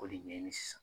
K'o de ɲɛɲini sisan